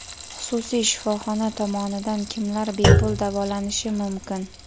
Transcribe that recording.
Xususiy shifoxona tomonidan kimlar bepul davolanishi mumkin?.